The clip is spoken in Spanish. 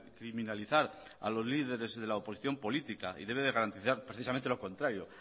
criminalizar a los líderes de la oposición política y debe garantizar precisamente lo contrario